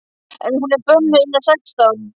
En hún er bönnuð innan sextán!